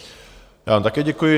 Já vám také děkuji.